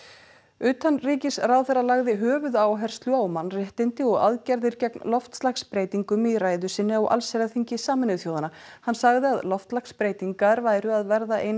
utanríkisráðherra lagði höfuðáherslu á mannréttindi og aðgerðir gegn loftslagsbreytingum í ræðu sinni á allsherjarþingi Sameinuðu þjóðanna hann sagði að loftslagsbreytingar væru að verða ein